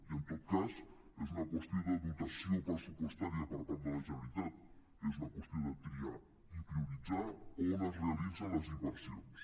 i en tot cas és una qüestió de dotació pressupostària per part de la generalitat és una qüestió de triar i prioritzar on es realitzen les inversions